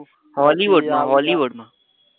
Hollywood માં Hollywood માં